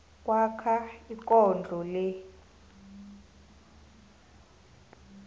kwakho ikondlo le